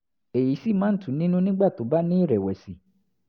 èyí sì máa ń tù ú nínú nígbà tó bá ní ìrẹ̀wẹ̀sì